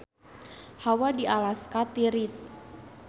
Hawa di Alaska tiris